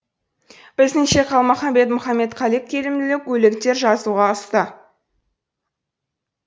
біздіңше қалмаханбет мұхаметқали келімділеу өлеңдер жазуға ұста